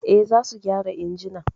Eh, za su gyara injimin